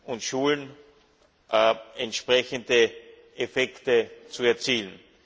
und Schulen entsprechende Effekte zu erzielen.